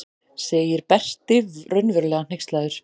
segir Berti raunverulega hneykslaður.